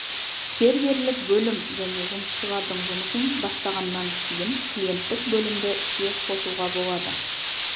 серверлік бөлім және жұмысшылардың жұмысын бастағаннан кейін клиенттік бөлімді іске қосуға болады